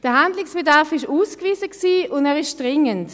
Der Handlungsbedarf ist ausgewiesen, und er ist dringend.